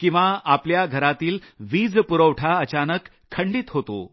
किंवा आपल्या घरातील विजपुरवठा अचानक खंडित होतो